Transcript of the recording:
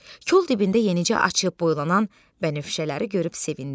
Kol dibində yenicə açıb boylanan bənövşələri görüb sevindi.